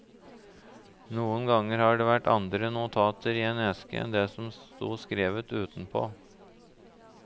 Noen ganger har det vært andre notater i en eske enn det som sto skrevet utenpå.